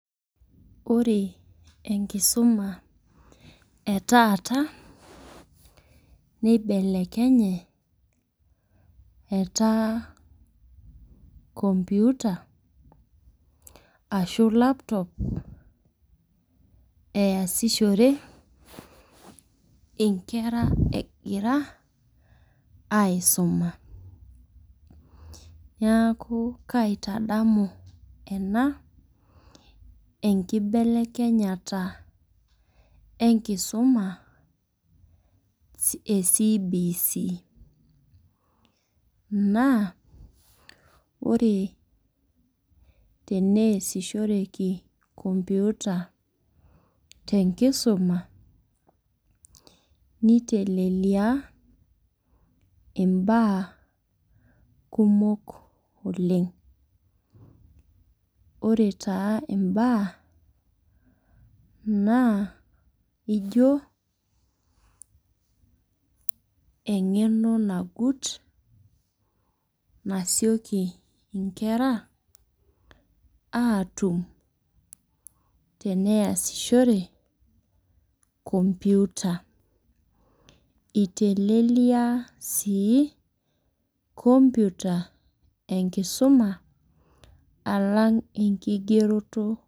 Ore enkisuma etaata. neibelekenye ,etaa computer ashu Laptop neesishore nkera egira aisuma. niaku kaitadamu ena enkibelekenyata enkisuma e CBC.naa ore teneesishoreki computer te nkisuma. niteleliaa imbaa kumok oleng. ore taa imbaa naa ijo. engeno nagut nasiokinnkera aatum teneyashore computer iteleliaa sii computer enkisuma. alang enkigeroto.